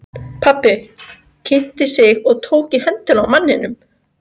Pabbi kynnti sig og tók í höndina á manninum.